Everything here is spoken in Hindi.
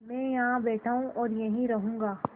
मैं यहाँ बैठा हूँ और यहीं रहूँगा